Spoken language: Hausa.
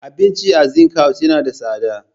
Abincin a Zinc House yana da tsada.